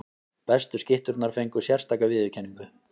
Bestu skytturnar fengu sérstaka viðurkenningu.